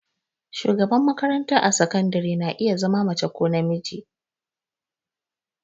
Shugaba a makarantar sakandare na iya zama mace ko namiji.